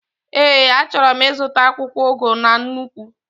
Ee, achọrọ m ịzụta akwụkwọ ugu na nnukwu